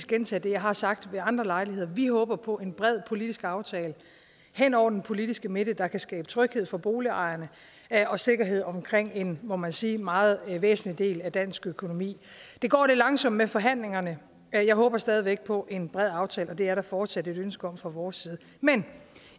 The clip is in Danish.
gentage det jeg har sagt ved andre lejligheder vi håber på en bred politisk aftale hen over den politiske midte der kan skabe tryghed for boligejerne og sikkerhed omkring en må man sige meget væsentlig del af dansk økonomi det går lidt langsomt med forhandlingerne jeg håber stadig væk på en bred aftale og det er der fortsat et ønske om fra vores side men